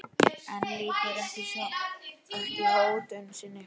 En lýkur ekki hótun sinni.